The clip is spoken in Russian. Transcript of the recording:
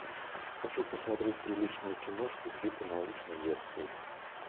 хочу посмотреть приличную киношку типа научной лекции